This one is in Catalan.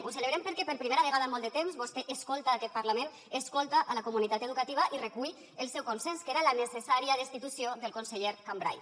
ho celebrem perquè per primera vegada en molt de temps vostè escolta aquest parlament escolta la comunitat educativa i recull el seu consens que era la necessària destitució del conseller cambray